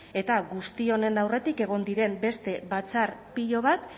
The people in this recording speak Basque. eta guzti honen aurretik egon diren beste batzar pilo bat